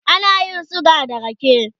ana yin suga da rake